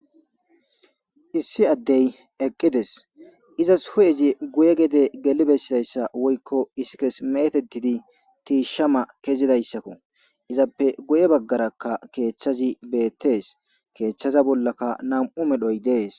Issi addey eqides izas isikezii guye gede gelidayss woykko izas tiishama kezidayssakko izappe guye baggarakka keththazii bettees keththaza bollarakka nam'u medhoy dees